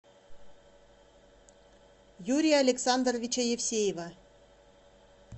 юрия александровича евсеева